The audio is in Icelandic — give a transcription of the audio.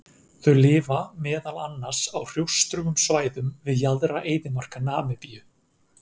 Þau lifa meðal annars á hrjóstrugum svæðum við jaðra eyðimarka Namibíu.